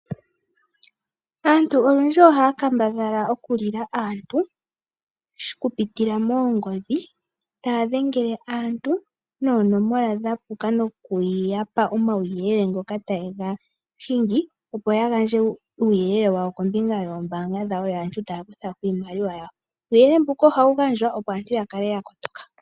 Aantu olundji ohaya kambadhala okulila aantu okupitila moongodhi, taya dhengele aantu noonomola dhapuka noku yapa omauyelele ga puka ngoka taye ya hingi opo ya gandje uuyelele kombinga yoombaanga dhawo yo aantu taya kuthako iimaliwa yawo. Uuyelele mbuka ohawu gandjwa opo aantu ya kale ya kotoka.